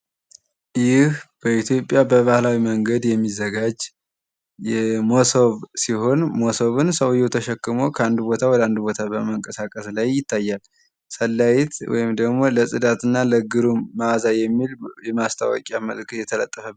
ይህ በኢትዮጵያ በባህላዊ መንገድ የሚዘጋጅ መሶብ ሲሆን መሶብን ሰውየው ተሸክሞ ከአንድ ቦታ ወደ አንድ ቦታ በመንቀሳቀስ ላይ ይታያል። ሰንላይት ወይም ደግሞ ለጽዳትና ለግሩም መአዛ የሚል የማስታወቂያ መልክ የተለጠፈ።